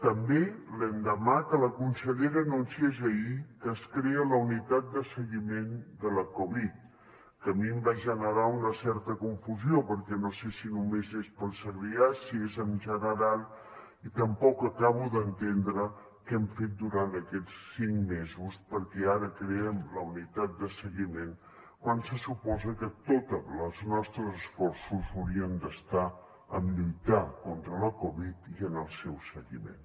també l’endemà que la consellera anunciés ahir que es crea la unitat de seguiment de la covid que a mi em va generar una certa confusió perquè no sé si només és per al segrià si és en general i tampoc acabo d’entendre què hem fet durant aquests cinc mesos perquè ara creem la unitat de seguiment quan se suposa que tots els nostres esforços haurien d’estar en lluitar contra la covid i en el seu seguiment